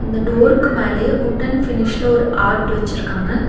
அந்த டோருக்கு மேலயே உட்டன் ஃபினிஷ்ல ஒரு ஆர்ட் வச்சிருக்காங்க.